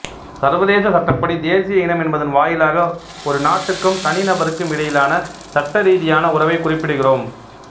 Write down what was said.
சர்வதேச சட்டப்படி தேசிய இனம் என்பதன் வாயிலாக ஒரு நாட்டுக்கும் தனி நபருக்கும் இடையிலான சட்ட ரீதியான உறவை குறிப்பிடுகிறோம்